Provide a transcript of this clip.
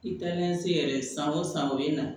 I taa ni se yɛrɛ san o san o ye na